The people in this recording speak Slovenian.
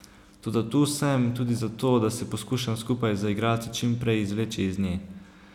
Toda tu sem tudi zato, da se poskušam skupaj z igralci čimprej izvleči iz nje.